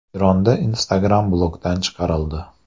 Eronda Instagram blokdan chiqarildi.